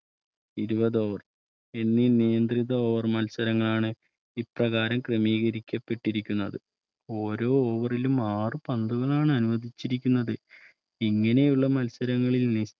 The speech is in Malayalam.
ഇരുപത് Over നിയന്ത്രിത മത്സരങ്ങളാണ്ഇപ്രകാരം ക്രമീകരിക്കപ്പെട്ടിരിക്കുന്നത് ഓരോ Over ലും ആറു പന്തുകളാണ് അനുവദിച്ചിരിക്കുന്നത് ഇങ്ങനെയുള്ള മത്സരങ്ങളിൽ